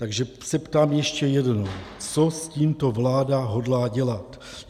Takže se ptám ještě jednou: Co s tímto vláda hodlá dělat?